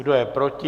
Kdo je proti?